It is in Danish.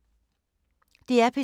DR P2